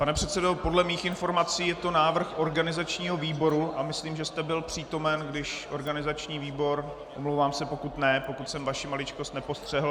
Pane předsedo, podle mých informací je to návrh organizačního výboru a myslím, že jste byl přítomen, když organizační výbor - omlouvám se, pokud ne, pokud jsem vaši maličkost nepostřehl.